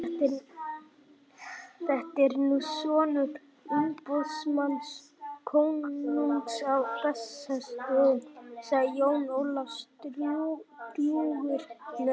Þetta er nú sonur umboðsmanns konungs á Bessastöðum, sagði Jón Ólafsson drjúgur með sig.